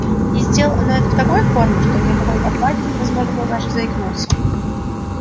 и сделал он это в такой форме что ни о какой оплате невозможно было даже заикнуться